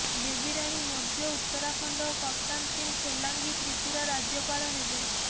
ବେବିରାଣୀ ମୌର୍ୟ୍ୟ ଉତ୍ତରାଖଣ୍ଡ ଓ କପ୍ତାନ ସିଂ ସୋଲାଙ୍କି ତ୍ରିପୁରା ରାଜ୍ୟପାଳ ହେବେ